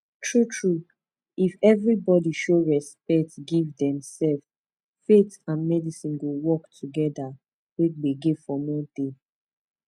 true true if everybodi show respect give dem self faith and medicince go work togeda wey gbege for no dey